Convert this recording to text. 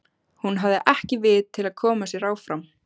Hún hafði ekki vit til að koma sér áfram.